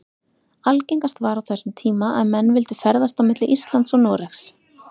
Algengast var á þessum tíma að menn vildu ferðast milli Íslands og Noregs.